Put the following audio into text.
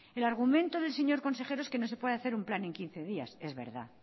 el argumento del señor consejero es que no se puede hacer un plan en quince días que es verdad